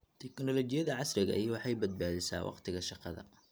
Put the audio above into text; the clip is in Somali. Tiknoolajiyada casriga ahi waxay badbaadisaa wakhtiga shaqada.